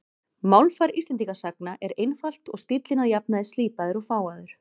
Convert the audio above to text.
Málfar Íslendingasagna er einfalt og stíllinn að jafnaði slípaður og fágaður.